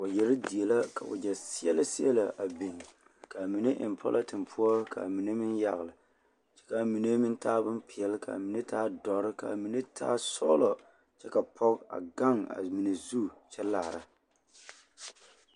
Waɡyɛre die la ka waɡyɛ seɛlɛseɛlɛ a biŋ ka a mine eŋ pɔlɔten poɔ ka a mine meŋ yaɡele kyɛ ka a mine meŋ taa bompeɛle ka a mine taa dɔre ka a mine taa sɔɡelɔ kyɛ ka pɔɡe a ɡaŋ a mine zu kyɛ laara.